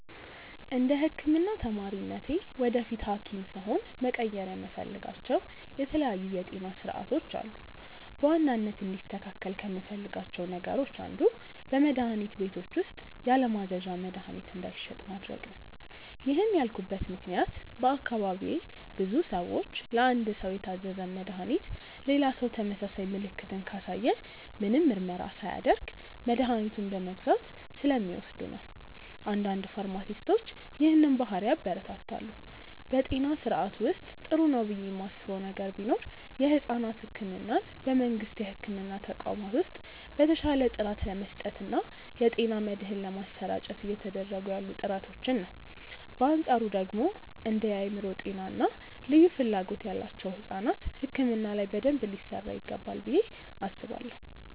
እንደ ህክምና ተማሪነቴ ወደፊት ሀኪም ስሆን መቀየር የምፈልጋቸው የተለያዩ የጤና ስርዓቶች አሉ። በዋናነት እንዲስተካከል ከምፈልጋቸው ነገሮች አንዱ በመድሀኒት ቤቶች ውስጥ ያለማዘዣ መድሀኒት እንዳይሸጥ ማድረግ ነው። ይህን ያልኩበት ምክንያት በአካባቢዬ ብዙ ሰዎች ለአንድ ሰው የታዘዘን መድሃኒት ሌላ ሰው ተመሳሳይ ምልክትን ካሳየ ምንም ምርመራ ሳያደርግ መድኃኒቱን በመግዛት ስለሚወስዱ ነው። አንዳንድ ፋርማሲስቶች ይህንን ባህሪ ያበረታታሉ። በጤና ስርዓቱ ውስጥ ጥሩ ነው ብዬ ማስበው ነገር ቢኖር የሕፃናት ሕክምናን በመንግስት የሕክምና ተቋማት ውስጥ በተሻለ ጥራት ለመስጠት እና የጤና መድህን ለማሰራጨት እየተደረጉ ያሉ ጥረቶችን ነው። በአንፃሩ ደግሞ እንደ የአእምሮ ጤና እና ልዩ ፍላጎት ያላቸው ሕፃናት ሕክምና ላይ በደንብ ሊሰራ ይገባል ብዬ አስባለሁ።